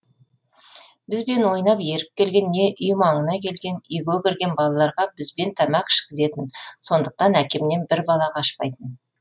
бізбен ойнап еріп келген не үй маңына келген үйге кірген балаларға бізбен тамақ ішкізетін сондықтан әкемнен бір бала қашпайтын